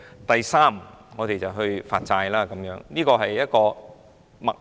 第三步就是發債，這是一個脈絡。